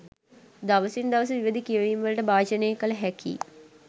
දවසින් දවස විවිධ කියැවීම්වලට භාජනය කළ හැකි